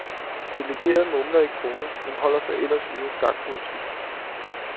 Delegerede mumler i krogene, men holder sig ellers ude af skakpolitik.